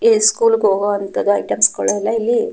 ಸ್ಕೂಲ್ಗೆ ಹೋಗುವ ಐಟೆಮ್ಸ ಗಳು ಇಲ್ಲಿ--